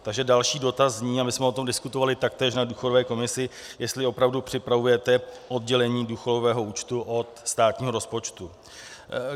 Takže další dotaz zní - a my jsme o tom diskutovali taktéž na důchodové komisi - jestli opravdu připravujete oddělení důchodového účtu od státního rozpočtu.